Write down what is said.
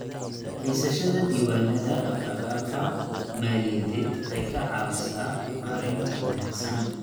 Haysashada diiwaannada dhaqdhaqaaqa maaliyadeed waxay ka caawisaa maaraynta wanaagsan.